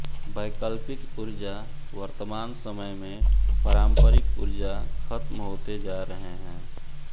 वैकल्पिक ऊर्जा वर्तमान समय में पारम्परिक ऊर्जा खत्म होते जा रहे है